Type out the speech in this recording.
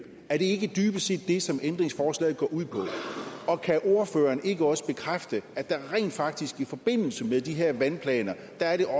er det ikke dybest set det som ændringsforslaget går ud på kan ordføreren ikke også bekræfte at det rent faktisk i forbindelse med de her vandplaner